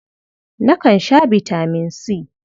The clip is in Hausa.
Nakan sha bitaman C.